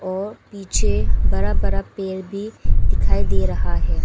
और पीछे बड़ा बड़ा पेड़ भी दिखाई दे रहा है।